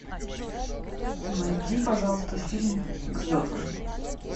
найди пожалуйста фильм к звездам